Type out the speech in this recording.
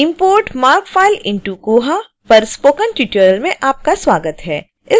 import marc file into koha पर spoken tutorial में आपका स्वागत है